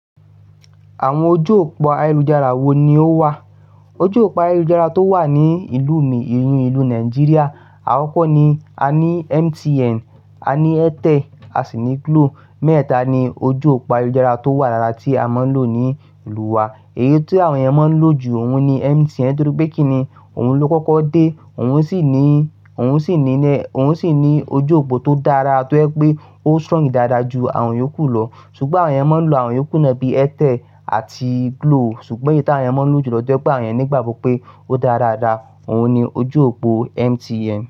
Àwọn ojú òpó ayélujára wo ni ó wà? Ojú òpó ayélujára tó wà ní ìlú mi, ìlú inú Nàìjíríà, àkòkọ̀ ni, a ní MTN, a ní Airtel, a sì ní Glo. Mẹ́tétá ni ojú òpó ayélujára tó wà lára tí a máa ń lò ní ìlú wa. Èyí tí àwọn ènìyàn máa ń lò jù óun ni MTN torí pé kíni, òun ló kọ́kọ́ dé, òun sì ní, òun sì ní, òun sì ní ojú òpó tó dára tó ẹ́ pé ó strong dáadáa ju àwọn èyíòkú lọ. Ṣùgbọ́n àwọn ènìyàn máa ń lò àwọn èyíòkú náà bíi Airtel àti Glo. Ṣùgbọ́n èyí tí àwọn ènìyàn máa ń lò jù lọdọdún bá ọ̀yàn nígbà gbogbo pé ó dára dáa, òun ni ojú òpó MTN.